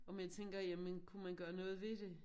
Og man tænker jamen kunne man gøre noget ved det